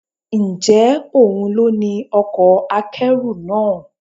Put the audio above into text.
Ǹjẹ́ òun ló ní ọkọ̀ akẹ́rù náà?